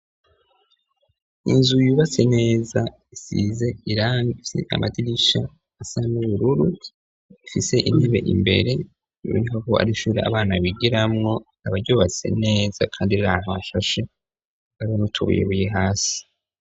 Inzu yubatse neza isize irangi, ifise amadirisha asa n'ubururu. Ifise intebe imbere, biboneka ko ari ishure abana bigiramwo. Rikaba ryubatse neza kandi riri ahantu hashashe. Hariho n'utubuyebuye hasi.